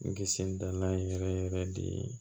N kisi dalan in yɛrɛ yɛrɛ de ye